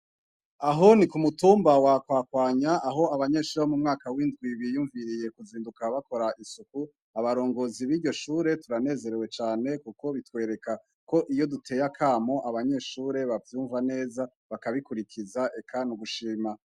Aho ni ku mutumba wa Kwakwanya aho abanyeshuri bo mumwaka w'indwi biyumviriye kuzinduka bakora isuku, abarongozi biryo shure turanezerewe cane kuko bitwereka ko iyo duteye akamo abanyeshure bavyumva neza bakabikurikiza eka n'ugushima.